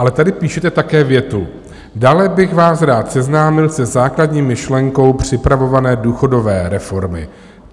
Ale tady píšete také větu: Dále bych vás rád seznámil se základní myšlenkou připravované důchodové reformy.